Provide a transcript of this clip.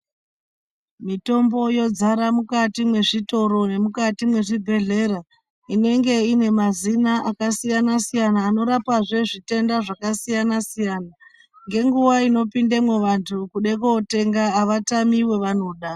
Mitombo yozara mukati mwezvitoro nemukati mwezvibhedhlera inenge ine mazina akasiyana siyana anorapazve zvitenda zvakasiyana siyana, ngenguva inopindemo vantu kude kundotenga vatamiwe vanoda.